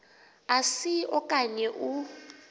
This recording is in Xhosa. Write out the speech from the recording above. asi okanye u